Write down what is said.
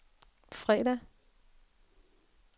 fredag